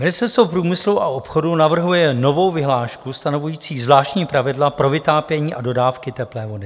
Ministerstvo průmyslu a obchodu navrhuje novou vyhlášku stanovující zvláštní pravidla pro vytápění a dodávky teplé vody.